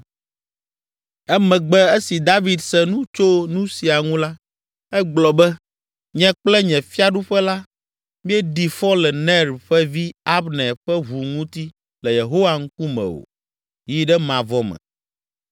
Emegbe, esi David se nu tso nu sia ŋu la, egblɔ be “Nye kple nye fiaɖuƒe la, míeɖi fɔ le Ner ƒe vi, Abner ƒe ʋu ŋuti le Yehowa ŋkume o yi ɖe mavɔ me.